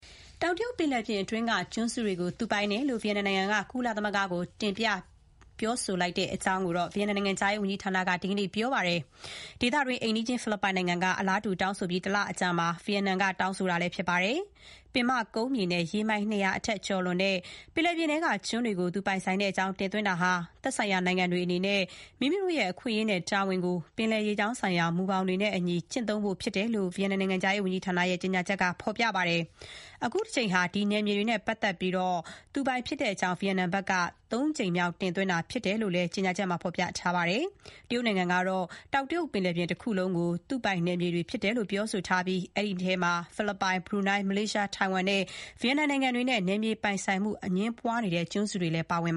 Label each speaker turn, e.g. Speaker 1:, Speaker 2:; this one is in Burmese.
Speaker 1: တောင်တရုတ်ပင်လယ်ပြင်အတွင်းက ကျွန်းစုတွေကို သူတို့ ပိုင်ဆိုင်တယ်လို့ ဗီယက်နမ်နိုင်ငံက ကုလသမဂ္ဂကို တင်ပြတောင်းဆို လိုက်ကြောင်း ဗီယက်နမ်နိုင်ငံခြားရေးဝန်ကြီးဌာနက ဒီနေ့ပြောကြားလိုက်ပါတယ်။ ဒေသတွင်း အိမ်နီးချင်း ဖိလစ်ပိုင်နိုင်ငံက အလာတူး တောင်းဆိုပြီး တလအကြာမှာပဲ ဗီယက်နမ်ဘက်က တောင်းဆိုလိုက်တာဖြစ်ပါတယ်။ ပင်မကုန်းမြေနဲ့ ရေမိုင် ၂၀၀ ထက် ကျော်လွန်တဲ့ ပင်လယ်ပြင်ထဲက ကျွန်းတွေကို ပိုင်ဆိုင်ကြောင်းတင်သွင်းတာဟာ သက်ဆိုင်ရာနိုင်ငံတွေအနေနဲ့ မိမိတို့ရဲ့ အခွင့်အရေး နဲ့ တာဝန်တွေကို ပင်လယ်ရေကြောင်းဆိုင်ရာ မူဘောင်တွေနဲ့အညီ ကျင့်သုံးဖို့ဖြစ်တယ်လို့ ဗီယက်နမ်နိုင်ငံခြားရေးဝန်ကြီးဌာနရဲ့ ကြေညာချက်မှာ ဖော်ပြပါတယ်။ အခုတကြိမ်ဟာ ဒီနယ်မြေတွေနဲ့ ပတ်သက်ပြီး သူတို့ပိုင်ဖြစ်ကြောင့် ဗီယက်နမ်ဘက်က ၃ ကြိမ်မြောက် တင်သွင်းတာဖြစ်တယ်လို့ သူတို့ရဲ့ ကြေညာချက်မှာပြောထားပါတယ်။ တရုတ်နိုင်ငံကတော့ တောင်တရုတ်ပင်လယ်ပြင်တခုလုံးကို သူတို့ပိုင်နယ်မြေတွေဖြစ်တယ်လို့ ပြောထားပြီး၊ အဲဒီထဲမှာ ဖိလစ်ပိုင်၊ ဘရူနိုင်း၊ မလေးရှား၊ ထိုင်ဝမ် နဲ့ ဗီယက်နမ် နိုင်ငံတွေနဲ့ နယ်မြေပိုင်ဆိုင်မှုအငြင်းပွားနေတဲ့ ကျွန်းစုတွေလည်း ပါဝင်